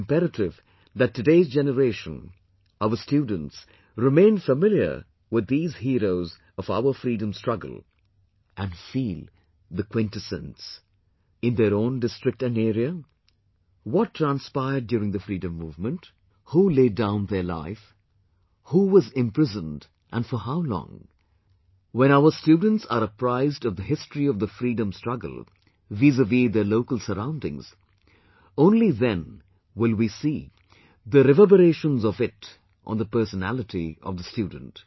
It is imperative that today's generation, our students remain familiar with these heroes of our freedom struggle and feel the quintessence in their own district & area; what transpired during the freedom movement, who laid down their life, who was imprisoned and for how long When our students are apprised of the history of the freedom struggle vizaviz their local surroundings only then will we see the reverberations of it on the personality of the student